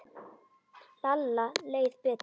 Lalla leið betur.